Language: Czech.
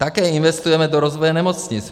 Také investujeme do rozvoje nemocnic.